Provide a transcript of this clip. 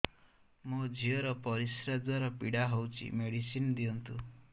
ମୋ ଝିଅ ର ପରିସ୍ରା ଦ୍ଵାର ପୀଡା ହଉଚି ମେଡିସିନ ଦିଅନ୍ତୁ